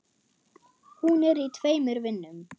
Hún er í tveimur vinnum.